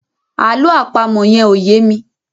àlọ́ àpamọ̀ yen ọ̀ ye mí